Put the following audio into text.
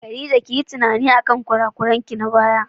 Khadija kiyi tunani akan kurakuranki na baya.